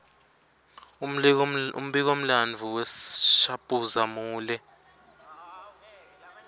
umbiko mlanduo wasdbhuza mule